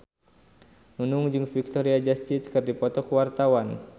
Nunung jeung Victoria Justice keur dipoto ku wartawan